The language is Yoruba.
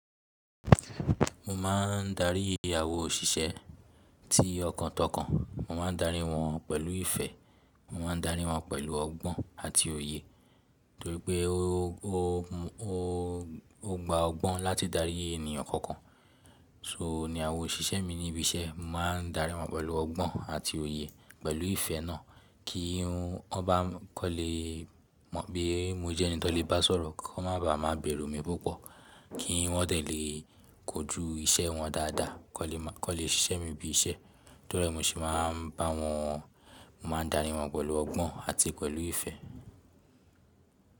Mo máa ń darí àwa òṣìṣẹ́ ti ọkàn tọkàn Mo máa ń darí wọn pẹ̀lú ìfẹ́, mo ma n darí wọn pẹ̀lú ọgbọ́n àti òye. Torípẹ́ ó gba ọgbọ́n láti darí ènìyàn kọ̀ọ̀kan. So ni àwọn òṣìṣẹ́ mi ní ibi iṣẹ́, mo máa ń darí wọn pẹ̀lú ọgbọ́n àti òye pẹ̀lú ìfẹ́ náà kí wọ́n bá kán lè mọ̀ pé mo jẹ́ ẹni tí wọ́n lè bá sọ̀rọ̀, kó má ba à má bẹ̀rù mi púpọ̀, kí wọ́n tẹ̀ lè kojú iṣẹ́ wọn dáadáa, kó lè ṣiṣẹ́ mi bí iṣẹ́. Torí ẹ mi sì máa ń bá wọn, mo máa ń darí wọn pẹ̀lú ọgbọ́n àti pẹ̀lú ìfẹ́.